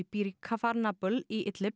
býr í kafar Nabl í